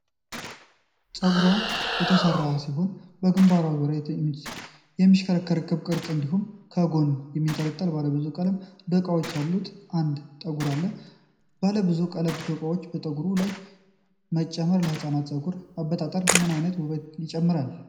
ፀጉሯ ጠጕር የተሰራ ሲሆን፣ በግንባሯ ዙሪያ የሚሽከረከር ክብ ቅርጽ እንዲሁም ከጎን የሚንጠለጠል ባለ ብዙ ቀለም ዶቃዎች ያሉት አንድ ጠጕር አለ፡፡ ባለብዙ ቀለም ዶቃዎችን በፀጉር ላይ መጨመር ለህፃናት ፀጉር አበጣጠር ምን አይነት ውበት ይጨምራል?